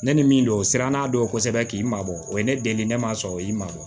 Ne ni min don siranna don kosɛbɛ k'i mabɔ o ye ne deli ne ma o y'i ma bɔ